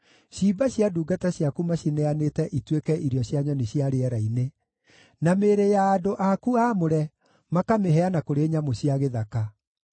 Ciimba cia ndungata ciaku macineanĩte ituĩke irio cia nyoni cia rĩera-inĩ, na mĩĩrĩ ya andũ aku aamũre makamĩheana kũrĩ nyamũ cia gĩthaka.